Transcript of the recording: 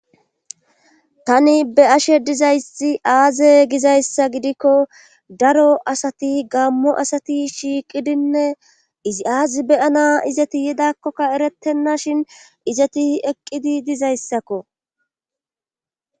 tani be'ashe dizayssi aaze gizayssa gidikko daro asati gammo asati shiiqidinne izi aazi beyana izati yidakkokka eretenna shin izati eqqidi dizayssakko